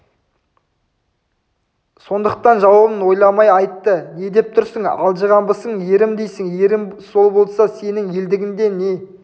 сондықтан жауабын ойламай айтты не деп тұрсын алжығанбысың ерім дейсің ерің сол болса сенің елдігіңде не